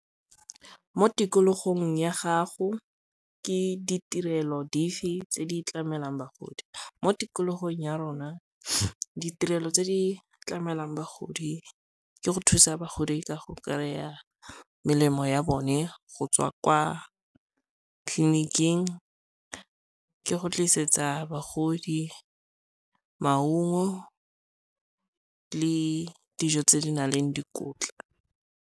Mo tikologong ya gago ke ditirelo dife tse di tlamelang bagodi? Mo tikologong ya rona ditirelo tse di tlamelang bagodi ke go thusa bagodi ka go kry-a melemo ya bone go tswa kwa tleliniking, ke go tlisetsa bagodi maungo le dijo tse di nang le dikotla.